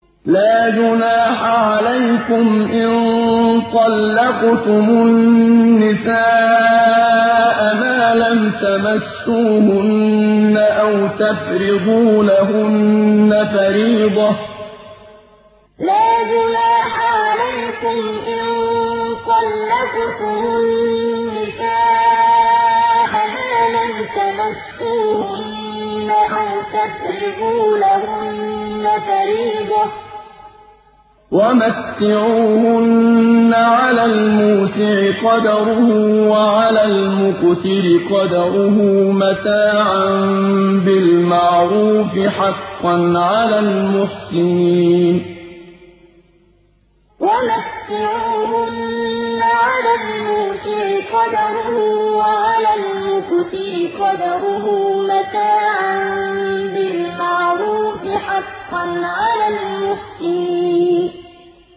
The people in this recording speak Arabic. لَّا جُنَاحَ عَلَيْكُمْ إِن طَلَّقْتُمُ النِّسَاءَ مَا لَمْ تَمَسُّوهُنَّ أَوْ تَفْرِضُوا لَهُنَّ فَرِيضَةً ۚ وَمَتِّعُوهُنَّ عَلَى الْمُوسِعِ قَدَرُهُ وَعَلَى الْمُقْتِرِ قَدَرُهُ مَتَاعًا بِالْمَعْرُوفِ ۖ حَقًّا عَلَى الْمُحْسِنِينَ لَّا جُنَاحَ عَلَيْكُمْ إِن طَلَّقْتُمُ النِّسَاءَ مَا لَمْ تَمَسُّوهُنَّ أَوْ تَفْرِضُوا لَهُنَّ فَرِيضَةً ۚ وَمَتِّعُوهُنَّ عَلَى الْمُوسِعِ قَدَرُهُ وَعَلَى الْمُقْتِرِ قَدَرُهُ مَتَاعًا بِالْمَعْرُوفِ ۖ حَقًّا عَلَى الْمُحْسِنِينَ